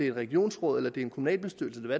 et regionsråd eller en kommunalbestyrelse eller